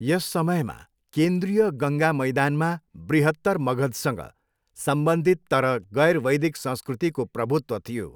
यस समयमा, केन्द्रीय गङ्गा मैदानमा बृहत्तर मगधसँग सम्बन्धित तर गैर वैदिक संस्कृतिको प्रभुत्व थियो।